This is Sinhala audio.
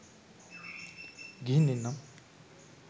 ගිහින් එන්නම්